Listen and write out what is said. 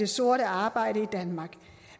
sort arbejde i danmark